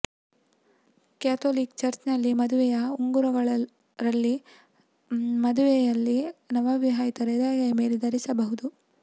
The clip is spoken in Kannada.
ಕ್ಯಾಥೋಲಿಕ್ ಚರ್ಚ್ನಲ್ಲಿ ಮದುವೆಯ ಉಂಗುರಗಳು ರಲ್ಲಿ ಮದುವೆಯಲ್ಲಿ ನವವಿವಾಹಿತರು ಎಡಗೈ ಮೇಲೆ ಧರಿಸಬಹುದು